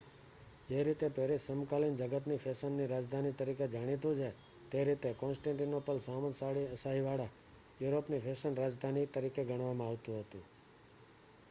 જે રીતે પેરીસ સમકાલીન જગતની ફેશનની રાજધાની તરીકે જાણીતું છે તે રીતે કોન્સ્ટેન્ટીનોપલ શામંતશાહીવાળા યુરોપની ફેશન રાજધાની તરીકે ગણવામાં આવતુ હતુ